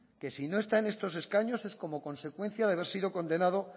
que si no está en estos escaños es como consecuencia de haber sido condenado